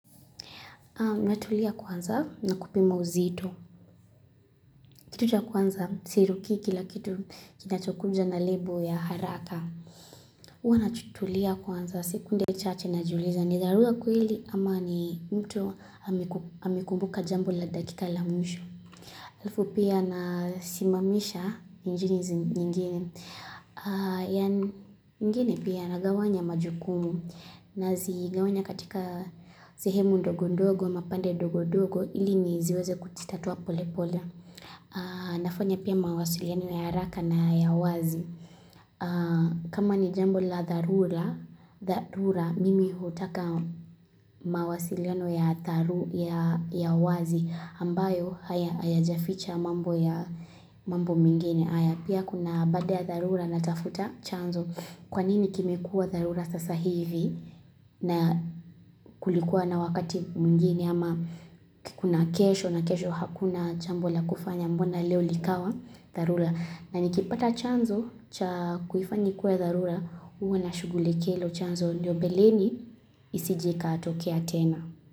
Natulia kwanza na kupima uzito. Kitu cha kwanza sirukii kila kitu kinachokunja na label ya haraka. Uwa natulia kwanza sekunde chache najiuliza. Ni dharura kweli ama ni mtu amekumbuka jambo la dakika la mwisho. Alqfu pia na simamisha ni njini zingine. Ingine pia nagawanya majukumu. Nazigawanya katika sehemu ndogo ndogo, mapande ndogo ndogo, ili niziweze kuzititatua pole pole. Nafanya pia mawasiliano ya haraka na ya wazi. Kama ni jambo la dharura, mimi hutaka mawasiliano ya dharura ya wazi. Ambayo hayajaficha mambo ya mambo mingine. Haya pia kuna baade ya dharura na tafuta chanzo. Kwa nini kimekuwa dharura sasa hivi na kulikuwa na wakati mwingine ama kuna kesho na kesho hakuna jambo la kufanya mbona leo likawa dharura. Na nikipata chanzo cha kuifanya ikue dharura uwa nashughulikia hilo chanzo. Ndio mbeleni isije ikatokea tena.